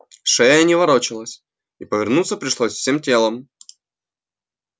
шея не ворочалась и повернуться пришлось всем телом